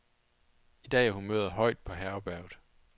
I dag er humøret højt på herberget.